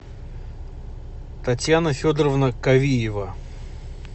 татьяна федоровна кавиева